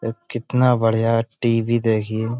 ए कितना बढिया टी.वी. देखिये।